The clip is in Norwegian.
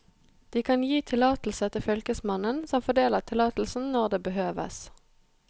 De kan gi tillatelse til fylkesmannen, som fordeler tillatelsen når det behøves.